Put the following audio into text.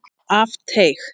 Af teig